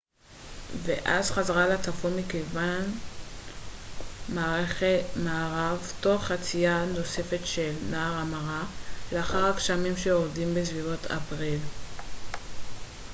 ואז חזרה לצפון מכיוון מערב תוך חצייה נוספת של נהר המארה לאחר הגשמים שיורדים בסביבות אפריל